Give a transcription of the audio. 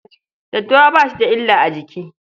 Daddawa ba shi da illa a jiki.